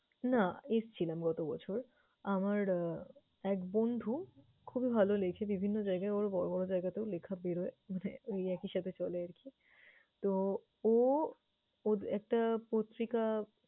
না, এসছিলাম গত বছর। আমার আহ এক বন্ধু খুবই ভাল লেখে। বিভিন্ন জায়গায় ওর বড় বড় জায়গাতেও লেখা বের হয়, মানে ওই একই সাথে চলে আরকি। তো, ও ওর একটা পত্রিকা